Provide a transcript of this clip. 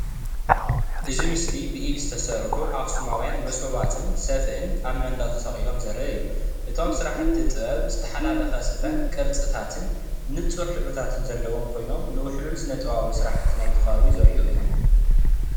እዚ ኣብዚ ምስሊ ዘሎ ብፍላይ ኣብ ኣኽሱምን ከባቢኡን ብኢድ ዝተሰርሑ ሰፍኢ እንትኸውን ብዝተፈላለዩ ሕብሪ ክሪ ዝወነኑ እንትኾይኑ ናይቲ ህዝቢ ፉሉይ ክእለትን ታሪኽን መለለይ ናይቲ ኸባቢ እዩ።